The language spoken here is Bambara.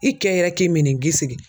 I kɛ yɛrɛ k'i mini gi sigi.